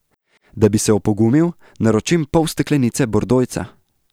Da bi se opogumil, naročim pol steklenice bordojca.